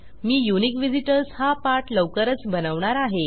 मी unique visitors हा पाठ लवकरच बनवणार आहे